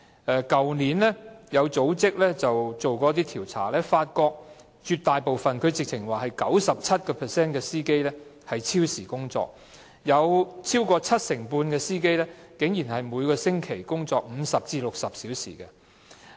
去年有組織曾進行一些調查，發現絕大部分，甚至是有 97% 的車長超時工作，超過七成半的車長竟然每星期工作50至60小時。